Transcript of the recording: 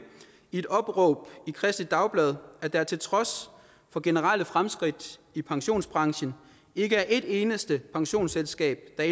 i et opråb i kristeligt dagblad at der til trods for generelle fremskridt i pensionsbranchen ikke er et eneste pensionsselskab der